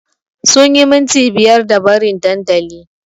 Sunyi minti biyar da barin dandali